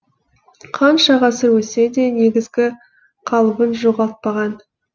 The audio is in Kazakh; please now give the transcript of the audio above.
қанша ғасыр өтсе де негізгі қалыбын жоғалтпаған